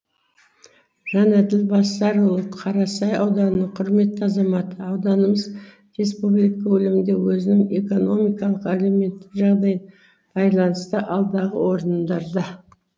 жанаділ басарұлы қарасай ауданының құрметті азаматы ауданымыз республика көлемінде өзінің экономикалық әлеуметтік жағдайын байланысты алдағы орындарда